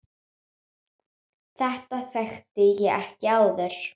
Þetta þekkti ég ekki áður.